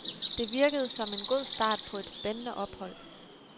Det virkede som en god start på et spændende ophold.